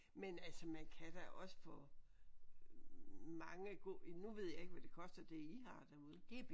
Men altså man kan da også få mange gode nu ved jeg ikke hvad det koster det I har derude